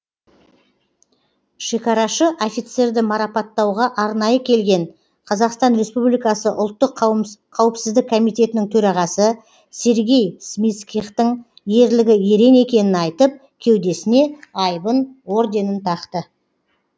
шекарашы офицерді маратапаттауға арнайы келген қазақстан республикасы ұлттық қауіпсіздік комитетінің төрағасы сергей смицкихтің ерлігі ерен екенін айтып кеудесіне айбын орденін тақты